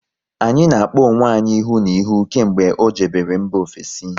Anyị na-akpọ onwe anyị ihu na ihu kemgbe ọ jebere mba ofesi